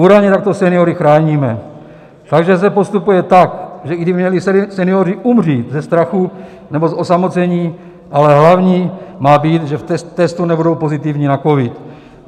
Údajně takto seniory chráníme, takže se postupuje tak, že i kdyby měli senioři umřít ze strachu nebo z osamocení, tak hlavní má být, že v testu nebudou pozitivní na covid.